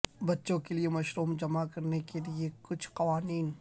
بچوں کے لئے مشروم جمع کرنے کے لئے کچھ قوانین